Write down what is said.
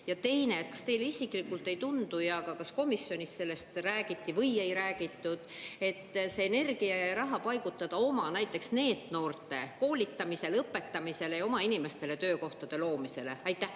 Ja teine: kas teile isiklikult ei tundu ja kas komisjonis sellest räägiti või ei räägitud, et see energia ja raha paigutada näiteks oma NEET‑noorte koolitamisele, õpetamisele ja oma inimestele töökohtade loomisele?